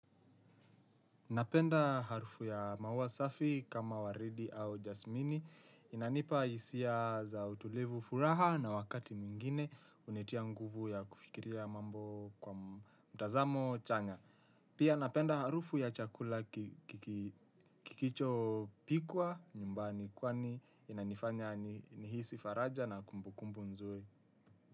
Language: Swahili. Napenda harufu ya muawa safi kama waridi au jasmini inanipa hisia za utulivu furaha na wakati mwingine hunitia nguvu ya kufikiria mambo kwa mtazamo chanya. Pia napenda harufu ya chakula kikicho pikwa nyumbani kwani inanifanya nihisi faraja na kumbukumbu nzuri.